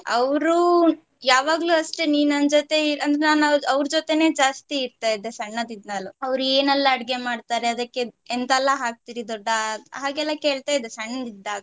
ಅವ್ರು ಯಾವಾಗಲೂ ಅಷ್ಟೆ ನೀ ನನ್ ಜೊತೆ ಅಂದ್ರೆ ನಾನು ಅವ್ರ ಜೊತೆನೆ ಜಾಸ್ತಿ ಇರ್ತಾ ಇದ್ದೆ ಸಣ್ಣಂದಿಂದಲೂ ಅವ್ರು ಏನೆಲ್ಲಾ ಅಡ್ಗೆ ಮಾಡ್ತಾರೆ ಅದಕ್ಕೆ ಎಂತಲ್ಲಾ ಹಾಕ್ತೀರಿ ದೊಡ್ಡ ಆ ಹಾಗೆ ಎಲ್ಲಾ ಕೇಳ್ತಾ ಇದ್ದೆ ಸಣ್ಣಳಿದ್ದಾಗ